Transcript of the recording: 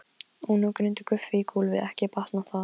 Og nú hrundi Guffi í gólfið, ekki batnaði það!